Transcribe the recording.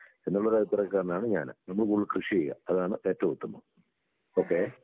എന്നുള്ളൊരു അഭിപ്രായക്കാരനാണ് ഞാന്. നമ്മള് കൂടുതൽ കൃഷി ചെയ്യുക അതാണ് ഏറ്റവും ഉത്തമം. ഓക്കേ.